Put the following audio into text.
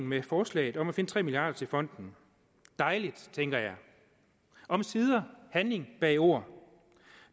med forslaget om at finde tre milliard kroner til fonden dejligt tænkte jeg omsider handling bag ord